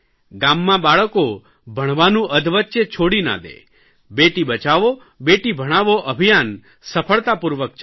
ગામમાં બાળકો ભણવાનું અધવચ્ચે છોડી ના દે બેટી બચાવો બેટી ભણાવો અભિયાન સફળતાપૂર્વક ચાલે